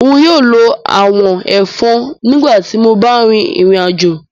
Nyóò ló àwọ̀n-ẹ̀fọn nígbà tí mó bá rìn ìrìnàjò